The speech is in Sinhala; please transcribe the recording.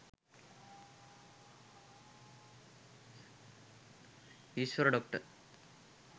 isiwara doctor